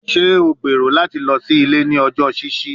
Ṣe o gbero lati lọ si ile ni ọjọ ṣiṣi?